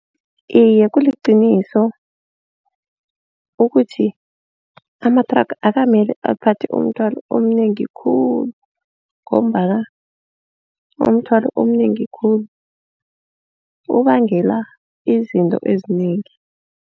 Iye kuliqiniso ukuthi amathraga akukamele aphathe umthwalo omnengi khulu ngombana umthwalo omnengi khulu ubangela izinto ezinengi.